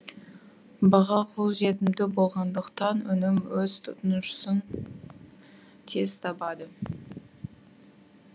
баға қолжетімді болғандықтан өнім өз тұтынушысын тез табады